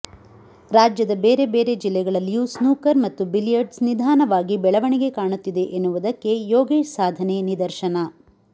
ರಾಜ್ಯದ ಬೇರೆ ಬೇರೆ ಜಿಲ್ಲೆಗಳಲ್ಲಿಯೂ ಸ್ನೂಕರ್ ಮತ್ತು ಬಿಲಿಯರ್ಡ್ಸ್ ನಿಧಾನವಾಗಿ ಬೆಳವಣಿಗೆ ಕಾಣುತ್ತಿದೆ ಎನ್ನುವುದಕ್ಕೆ ಯೋಗೇಶ್ ಸಾಧನೆ ನಿದರ್ಶನ